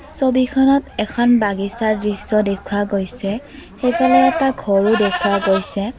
ছবিখনত এখন বাগিচাৰ দৃশ্য দেখুওৱা গৈছে সেইফালে এটা ঘৰো দেখুওৱা গৈছে।